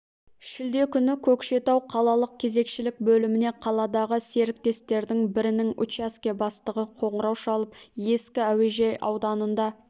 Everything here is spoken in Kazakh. шілде күні көкшетау қалалық кезекшілік бөліміне қаладағы серіктестіктердің бірінің учаске бастығы қоңырау шалып ескі әуежай ауданында